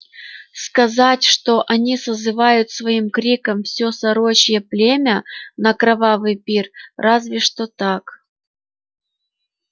сказать что они созывают своим криком всё сорочье племя на кровавый пир разве что так